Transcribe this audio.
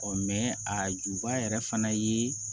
a juba yɛrɛ fana ye